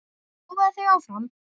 Prófaðu þig áfram!